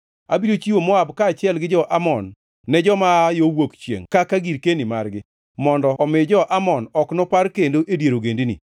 Abiro chiwo Moab kaachiel gi jo-Amon ne joma aa yo Wuok chiengʼ kaka girkeni margi, mondo omi jo-Amon ok nopar kendo e dier ogendini;